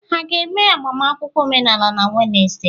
Ha ga-eme agbamakwụkwọ omenala na Wenesde?